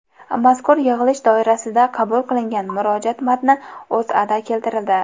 Mazkur yig‘ilish doirasida qabul qilingan murojaat matni O‘zAda keltirildi .